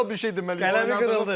Radikal bir şey deməli, qələmi qırdı.